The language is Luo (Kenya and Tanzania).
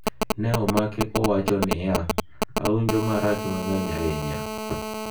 Ne omake ka owacho ni: “Awinjo marach mang'eny ahinya.